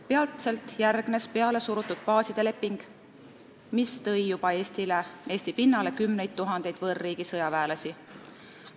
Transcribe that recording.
Peatselt järgnes pealesurutud baaside leping, mis tõi Eesti pinnale juba kümneid tuhandeid võõrriigi sõjaväelasi.